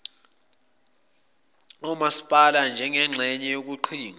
omasipala nanjengengxenye yeqhinga